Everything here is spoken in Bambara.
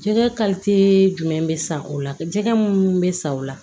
Jɛgɛ jumɛn bɛ san o la jɛgɛ minnu bɛ san o la